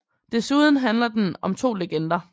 Desuden handler den om 2 legender